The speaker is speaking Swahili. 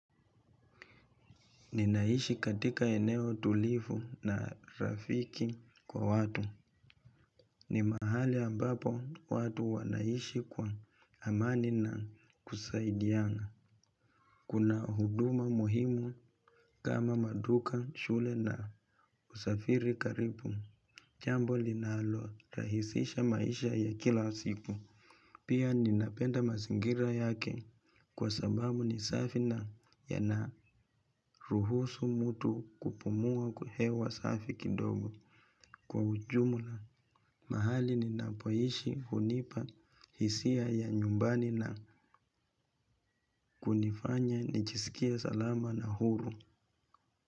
Ninaishi katika eneo tulivu na rafiki kwa watu. Ni mahali ambapo watu wanaishi kwa amani na kusaidiana. Kuna huduma muhimu kama maduka, shule na usafiri karibu. Jambo linalo rahisisha maisha ya kila siku. Pia ninapenda mazingira yake kwa sababu ni safi na yanaruhusu mtu kupumua kuhewa safi kidogo kwa ujumula mahali ninapoishi hunipa hisia ya nyumbani na kunifanya nichisikie salama na huru.